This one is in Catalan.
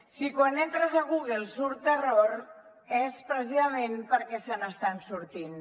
si quan entres a google surt terror és precisament perquè se n’estan sortint